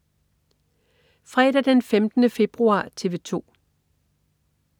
Fredag den 15. februar - TV 2: